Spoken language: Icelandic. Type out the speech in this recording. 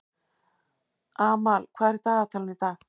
Amal, hvað er í dagatalinu í dag?